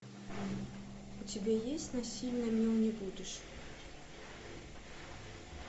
у тебя есть насильно мил не будешь